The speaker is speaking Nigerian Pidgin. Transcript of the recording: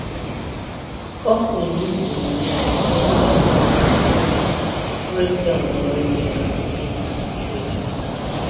company lose money because network break break down during their market trading time